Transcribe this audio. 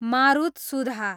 मारुतसुधा